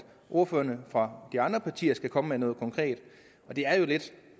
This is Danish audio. ordførerne for de andre partier skal komme med noget konkret det er jo lidt